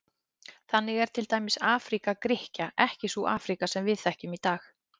Þannig er til dæmis Afríka Grikkja ekki sú Afríka sem við þekkjum í dag.